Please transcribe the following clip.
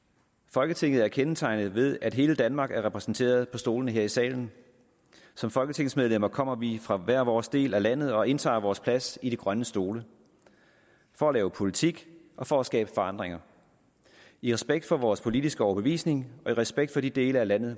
folketinget er kendetegnet ved at hele danmark er repræsenteret på stolene her i salen som folketingsmedlemmer kommer vi fra hver vores del af landet og indtager vores plads i de grønne stole for at lave politik og for at skabe forandringer i respekt for vores politiske overbevisning og i respekt for de dele af landet